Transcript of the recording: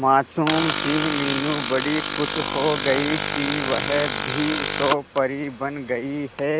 मासूम सी मीनू बड़ी खुश हो गई कि वह भी तो परी बन गई है